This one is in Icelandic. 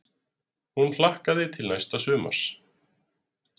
Hún hlakkaði til næsta sumars.